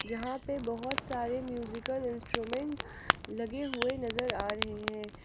जहां पे बहोत सारे म्यूजिकल इंस्ट्रूमेंट लगे हुए नजर आ रहे हैं।